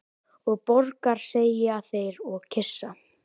Og borgar, segja þeir og kyssa.